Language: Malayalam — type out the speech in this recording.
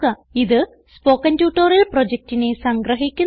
ഇത് സ്പോകെൻ ട്യൂട്ടോറിയൽ പ്രൊജക്റ്റിനെ സംഗ്രഹിക്കുന്നു